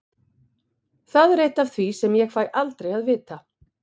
Það er eitt af því sem ég fæ aldrei að vita.